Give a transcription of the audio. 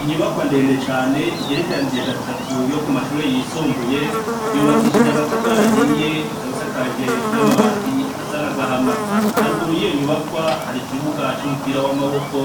Inyubakwa ndende cane igerekeranije gatatu yo ku mashure yisumbuye yubakishije amatafarahiye ikabisa kaje n'amabati asa n'agahama haruguru y'iyo nyubakwa hari ikibuga c'umupira w'amaboko